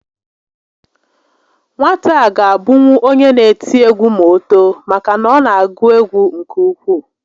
Nwata a ga abụnwu onye n'eti egwu ma o too maka na ọ na agụ egwu nke ukwuu